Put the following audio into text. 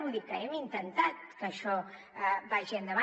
vull dir que hem intentat que això vagi endavant